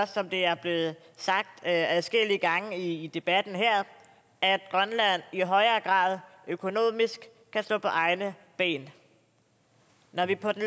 som det er blevet sagt adskillige gange i debatten her at grønland i højere grad økonomisk kan stå på egne ben når vi på den